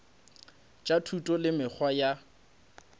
tša thuto le mekgwa ya